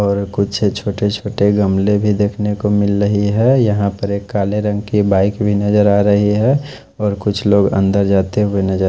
और कुछ छोटे छोटे गमले भी देख नेको मिल रही है यहाँ पर एक काले रंग के बाइक भी नजर आ रही है और कुछ लोग अंदर जाते हुए नजर--